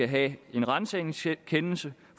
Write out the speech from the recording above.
have en ransagningskendelse